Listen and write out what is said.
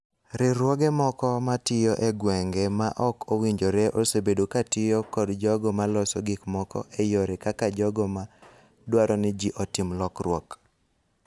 Riwruoge moko ma tiyo e gwenge ma ok owinjore osebedo ka tiyo kod jogo ma loso gik moko e yore kaka jogo ma dwaro ni ji otim lokruok.